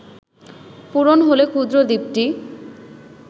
পূরণ হলে ক্ষুদ্র দ্বীপটি